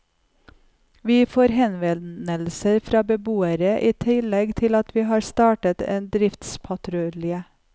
Vi får henvendelser fra beboere, i tillegg til at vi har startet en driftspatrulje.